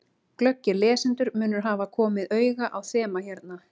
Glöggir lesendur munu hafa komið auga á þema hérna.